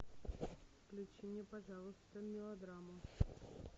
включи мне пожалуйста мелодраму